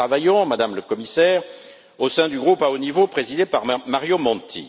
Nous y travaillons, Madame la Commissaire, au sein du groupe à haut niveau présidé par Mario Monti.